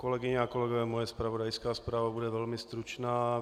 Kolegyně a kolegové, moje zpravodajská zpráva bude velmi stručná.